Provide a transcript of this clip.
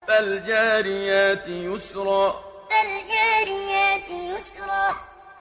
فَالْجَارِيَاتِ يُسْرًا فَالْجَارِيَاتِ يُسْرًا